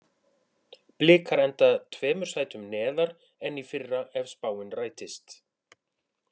Blikar enda tveimur sætum neðar en í fyrra ef spáin rætist.